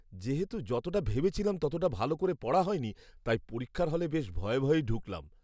যেহেতু যতটা ভেবেছিলাম ততটা ভালো করে পড়া হয়নি তাই পরীক্ষার হলে বেশ ভয়ে ভয়েই ঢুকলাম।